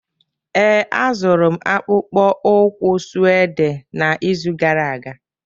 Ee, azụrụ m akpụkpọ ụkwụ suede n'izu gara aga